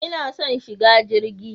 Ina son shiga jirgi.